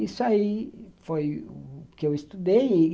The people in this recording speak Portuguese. Isso aí foi o que eu estudei.